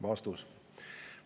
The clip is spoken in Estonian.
" Vastus.